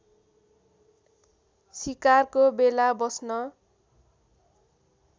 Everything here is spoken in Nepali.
सिकारको बेला बस्न